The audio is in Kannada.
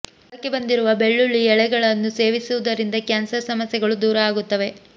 ಮೊಳಕೆ ಬಂದಿರುವ ಬೆಳ್ಳುಳ್ಳಿ ಎಳೆಗಳನ್ನು ಸೇವಿಸುವುದರಿಂದ ಕ್ಯಾನ್ಸರ್ ಸಮಸ್ಯೆಗಳು ದೂರ ಆಗುತ್ತವೆ